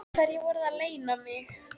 Hverju voruð þið að leyna mig?